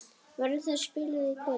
Verður það spilað í kvöld?